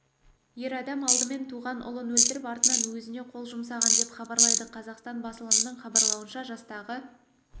ер адам алдымен туған ұлын өлтіріп артынан өзіне қол жұмсаған деп хабарлайды қазақстан басылымның хабарлауынша жастағы